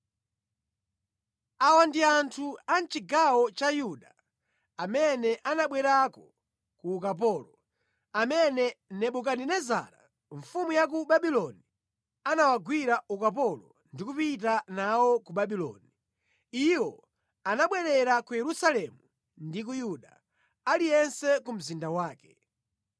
Awa ndi anthu a mʼchigawo cha Yuda amene anabwerako ku ukapolo, amene Nebukadinezara mfumu ya ku Babuloni anawagwira ukapolo ndi kupita nawo ku Babuloni (iwo anabwerera ku Yerusalemu ndi ku Yuda, aliyense ku mzinda wake.